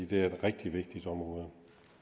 det er et rigtig vigtigt område